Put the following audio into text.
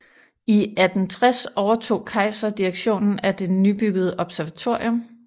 I 1860 overtog Kaiser direktionen af det nybyggede observatorium